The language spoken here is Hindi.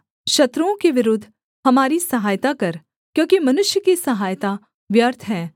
शत्रुओं के विरुद्ध हमारी सहायता कर क्योंकि मनुष्य की सहायता व्यर्थ है